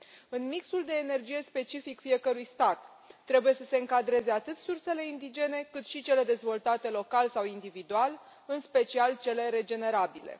În mixul de energie specific fiecărui stat trebuie să se încadreze atât sursele indigene, cât și cele dezvoltate local sau individual, în special cele regenerabile.